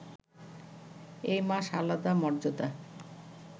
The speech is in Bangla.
এই মাস আলাদা মর্যাদা